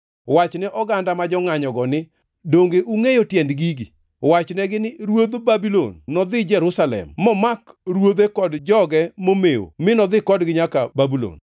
“Wachne oganda ma jongʼanyogo ni, ‘Donge ungʼeyo tiend gigi?’ Wachnegi ni, ‘Ruodh Babulon nodhi Jerusalem momake ruodhe kod joge momew mi nodhi kodgi nyaka Babulon.